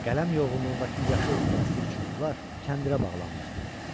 Qələm yoğunluğundakı yaşıl elastik çubuqlar kəndirə bağlanmışdı.